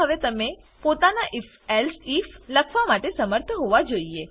મા હવે તમે પોતાના આઇએફ એલ્સિફ લખવા માટે શમર્થ હોવા જોઈએ